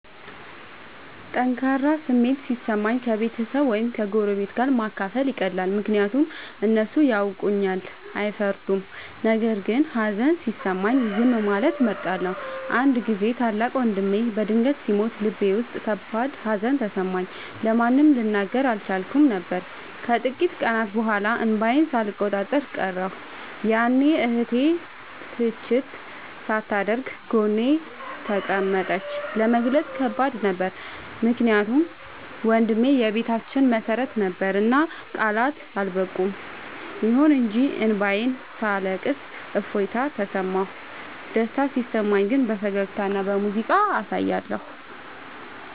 ጠንካራ ስሜት ሲሰማኝ ከቤተሰብ ወይም ከጎረቤት ጋር ማካፈል ይቀላል፤ ምክንያቱም እነሱ ያውቁኛልና አይፈርዱም። ነገር ግን ሀዘን ሲሰማኝ ዝም ማለትን እመርጣለሁ። አንድ ጊዜ ታላቅ ወንድሜ በድንገት ሲሞት ልቤ ውስጥ ከባድ ሀዘን ተሰማኝ፤ ለማንም ልናገር አልቻልኩም ነበር። ከጥቂት ቀናት በኋላ እንባዬን ሳልቆጣጠር ቀረሁ፤ ያኔ እህቴ ትችት ሳታደርግ ጎኔ ተቀመጠች። ለመግለጽ ከባድ ነበር ምክንያቱም ወንድሜ የቤታችን መሰረት ነበርና ቃላት አልበቁም። ይሁን እንጂ እንባዬን ሳለቅስ እፎይታ ተሰማሁ። ደስታ ሲሰማኝ ግን በፈገግታና በሙዚቃ አሳያለሁ።